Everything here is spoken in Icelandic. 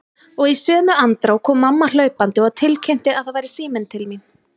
Og í sömu andrá kom mamma hlaupandi og tilkynnti að það væri síminn til mín.